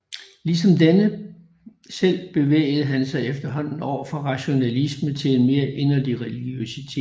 Ligesom denne selv bevægede han sig efterhånden over fra rationalismen til en mere inderlig religiøsitet